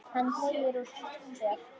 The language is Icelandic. Hann teygir úr sér.